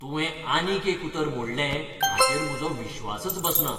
तुवें आनीक एक उतर मोडलें हाचेर म्हजो विश्वासच बसना.